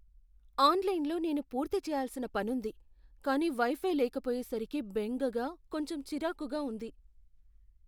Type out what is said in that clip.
"ఆన్లైన్లో నేను పూర్తి చెయ్యాల్సిన పనుంది, కానీ వై ఫై లేకపోయేసరికి బెంగగా, కొంచెం చిరాకుగా ఉంది."